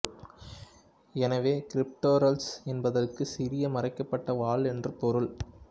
எனவே கிரிப்டுரெல்லஸ் என்பதற்கு சிறிய மறைக்கப்பட்ட வால் என்று பொருள்